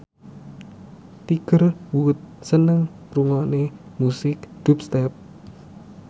Tiger Wood seneng ngrungokne musik dubstep